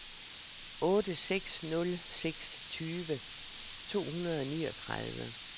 otte seks nul seks tyve to hundrede og niogtredive